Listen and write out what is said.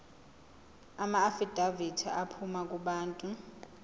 amaafidavithi aphuma kubantu